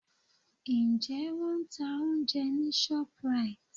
Ǹjẹ́ Wọ́n ń ta oúnjẹ ní Shoprite?